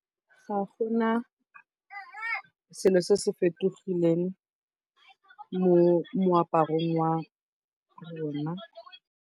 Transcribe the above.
Ga go na selo se se fetogileng mo moaparong wa rona.